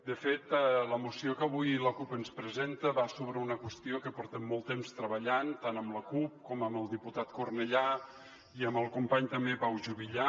de fet la moció que avui la cup ens presenta va sobre una qüestió que portem molt temps treballant tant amb la cup com amb el diputat cornellà i amb el company també pau juvillà